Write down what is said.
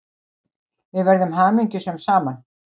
Við verðum hamingjusöm saman.